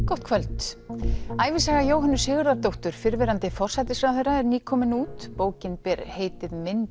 gott kvöld ævisaga Jóhönnu Sigurðardóttur fyrrverandi forsætisráðherra er nýkomin út bókin ber heitið minn